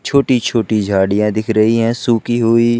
छोटी छोटी झाड़ियां दिख रही हैं सूखी हुई।